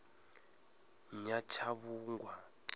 nyatshavhungwa